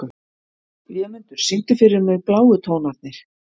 Vémundur, syngdu fyrir mig „Bláu tónarnir“.